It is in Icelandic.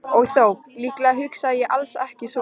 Og þó, líklega hugsaði ég alls ekki svona.